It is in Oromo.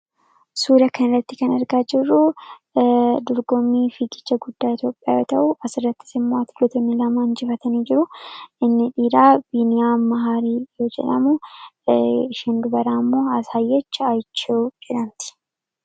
Suuraa kanarratti kan argaa jirru dorgommii fiigicha guddaa ta'e yoo ta'u asirrattis immoo wantoonni jiran kana lamaan yoo ta'u, inni dhiiraa Yiiniyaa Ammahaa yoo jedhamu isheen dubaraa immoo Asaayech Ayichee jedhamti.